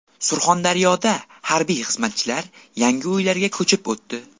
Surxondaryoda harbiy xizmatchilar yangi uylarga ko‘chib o‘tdi.